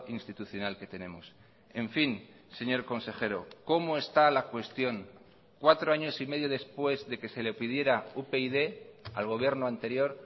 institucional que tenemos en fin señor consejero cómo está la cuestión cuatro años y medio después de que se le pidiera upyd al gobierno anterior